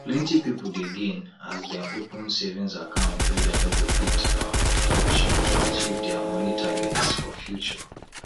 plenty people dey gain as dem open savings account wey dem no go fit um touch to achieve dia money targets for future